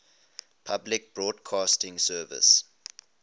public broadcasting service